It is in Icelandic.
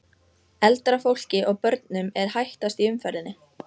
Eldra fólki og börnum er hættast í umferðinni.